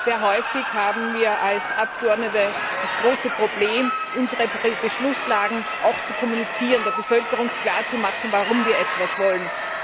Sehr häufig haben wir als Abgeordnete das große Problem, unsere Beschlusslagen auch zu kommunizieren, der Bevölkerung klarzumachen, warum wir etwas wollen.